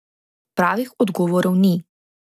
Pravih odgovorov ni ...